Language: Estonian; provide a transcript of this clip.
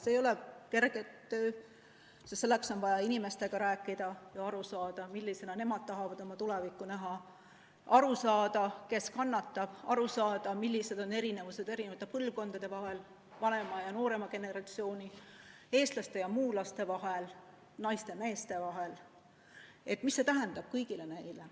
See ei ole kerge töö, sest selleks on vaja inimestega rääkida ja aru saada, millisena nemad tahavad oma tulevikku näha, aru saada, kes kannatab, aru saada, millised on erinevused eri põlvkondade vahel, vanema ja noorema generatsiooni, eestlaste ja muulaste vahel, naiste ja meeste vahel, mida see tähendab kõigile neile.